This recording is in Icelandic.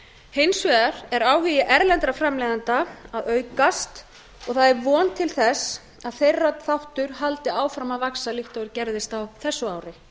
hins vegar er áhugi erlendra framleiðenda að aukast og það er von til þess að þeirra þáttur haldi áfram að vaxa líkt og gerðist á þessu ári